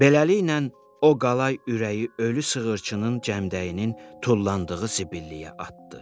Beləliklə, o qalay ürəyi ölü sığırçının cəmdəyinin tullandığı zibilliyə atdı.